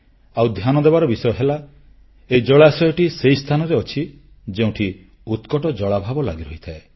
ଆଉ ଧ୍ୟାନ ଦେବାର ବିଷୟ ହେଲା ଏହି ଜଳାଶୟଟି ସେହି ସ୍ଥାନରେ ଅଛି ଯେଉଁଠି ଉତ୍କଟ ଜଳାଭାବ ଲାଗିରହିଥାଏ